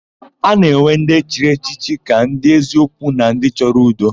A na-ewe ndị chiri echichi ka ndị eziokwu na ndị chọrọ udo.